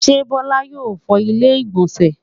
ṣé Bola yóò fọ ilẹ́ ìgbọ̀nsẹ̀